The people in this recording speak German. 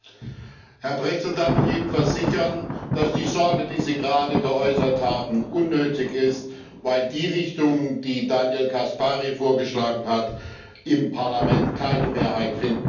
Herr Pretzell darf ich Ihnen versichern, dass die Sorge, die Sie gerade geäußert haben, unnötig ist, weil die Richtung, die Daniel Caspari vorgeschlagen hat, im Parlament keine Mehrheit finden wird.